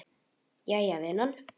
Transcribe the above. Jæja vinan.